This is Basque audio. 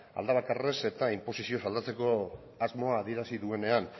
alde bakarrez eta inposizioz aldatzeko asmoa adierazi duenean